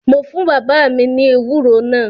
Mo fún bàbá mi ní ewúro náà